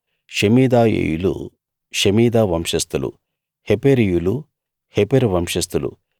షెమీదాయీయులు షెమీదా వంశస్థులు హెపెరీయులు హెపెరు వంశస్థులు